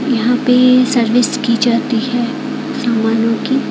यहां पे सर्विस की जाती है सामानों की।